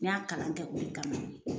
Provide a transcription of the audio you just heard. N y'a kalan kɛ o de kama